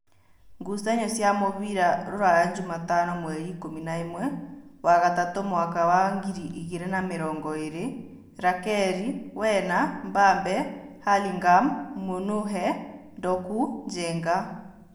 Ngucanio cia mũbira Ruraya Jumatano mweri ikũmi na ĩmwe wa gatatu mwaka wa ngiri igĩrĩ na mĩrongoĩrĩ: Rakeri, Wena, Mbambe, Halingham, Mũnũhe, Ndoku, Njenga